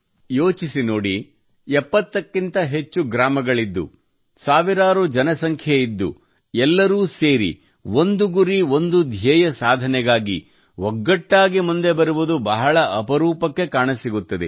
ಯೋಚಿಸಿನೋಡಿ 70 ಕ್ಕಿಂತ ಹೆಚ್ಚು ಗ್ರಾಮಗಳಿದ್ದು ಸಾವಿರಾರು ಜನಸಂಖ್ಯೆಯಿದ್ದು ಎಲ್ಲರೂ ಸೇರಿ ಒಂದು ಗುರಿ ಒಂದು ಧ್ಯೇಯ ಸಾಧನೆಗಾಗಿ ಒಗ್ಗಟ್ಟಾಗಿ ಮುಂದೆ ಬರುವುದು ಬಹಳ ಅಪರೂಪಕ್ಕೆ ಕಾಣಸಿಗುತ್ತದೆ